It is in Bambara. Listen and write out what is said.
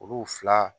Olu fila